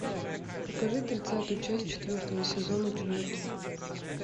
покажи тридцатую часть четвертого сезона чужаки